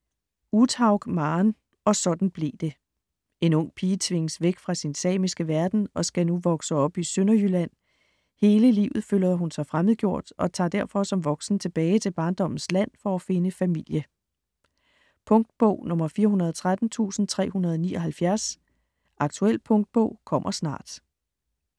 Uthaug, Maren: Og sådan blev det En ung pige tvinges væk fra sin samiske verden og skal nu vokse op i Sønderjylland. Hele livet føler hun sig fremmedgjort og tager derfor som voksen tilbage til barndommens land for at finde familie. Punktbog 413379 Aktuel punktbog - kommer snart. .